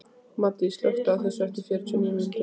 Maddý, slökktu á þessu eftir fjörutíu og níu mínútur.